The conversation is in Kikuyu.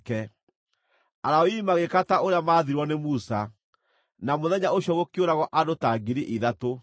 Alawii magĩĩka ta ũrĩa maathirwo nĩ Musa, na mũthenya ũcio gũkĩũragwo andũ ta 3,000.